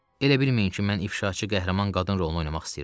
Elə bilməyin ki, mən ifşaçı qəhrəman qadın rolunu oynamaq istəyirəm.